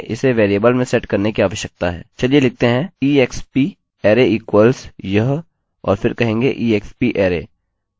चलिए लिखते हैं exp array equals यह और फिर कहेंगे exp array और हम नम्बर्स को एको कर सकते हैं